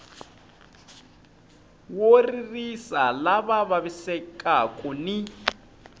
wo ririsa lava vavisekaku ni